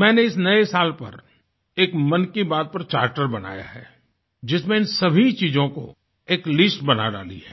मैंने इस नए साल पर एक मन की बात पर चार्टर बनाया है जिसमें इन सभी चीजों की एक लिस्ट बना डाली है